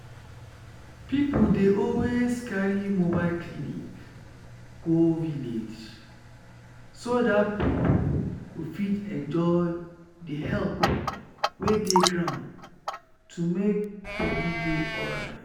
people dey always carry mobile clinic go village so that people go fit enjoy the help wey dey ground to make body dey alright.